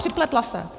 Připletla se.